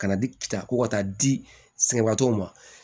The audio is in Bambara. Ka na di ta ko ka taa di sɛnɛbatɔw ma